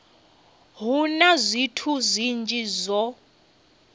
hu na zwithu zwinzhi zwo